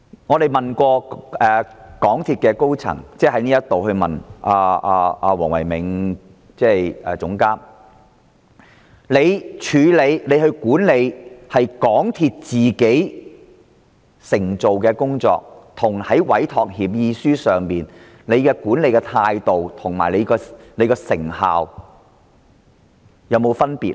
我們也曾在立法會詢問港鐵公司的工程總監黃唯銘，港鐵公司在執行本身的工作與執行委託協議書的工作時，在管理態度及成效上是否有分別呢？